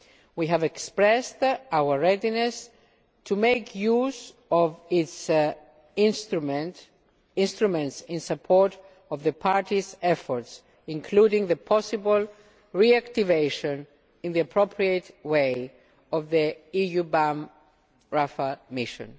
We have expressed our readiness to make use of its instruments in support of the parties' efforts, including the possible reactivation, in the appropriate way, of the EUBAM Rafah Mission.